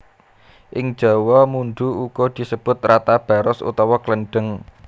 Ing jawa mundhu uga disebut rata baros utawa klendheng